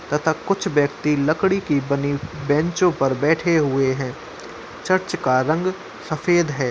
तथा कुछ व्यक्ति लकड़ी की बनी बेंचों पर बैठे हुए हैं। चर्च का रंग सफ़ेद है।